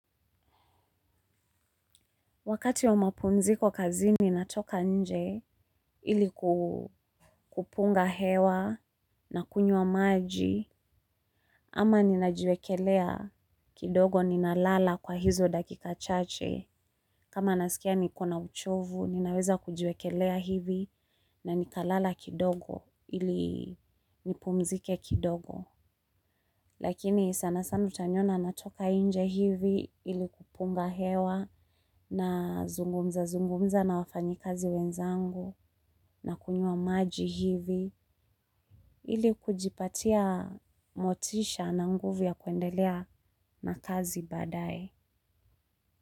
Wakati wa mapunziko kazini natoka nje ili kupunga hewa na kunywa maji. Ama ninajiwekelea kidogo ninalala kwa hizo dakika chache. Kama nasikia niko na uchovu, ninaweza kujiwekelea hivi na nikalala kidogo ili nipumzike kidogo. Lakini sana sana utaniona natoka inje hivi ili kupunga hewa na zungumza zungumza na wafanyi kazi wenzangu na kunywa maji hivi ili kujipatia motisha na nguvu ya kuendelea na kazi baadae.